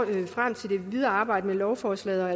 vi frem til det videre arbejde med lovforslaget